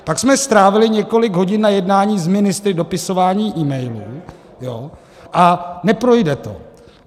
Pak jsme strávili několik hodin na jednání s ministry, dopisováním e-mailů, a neprojde to.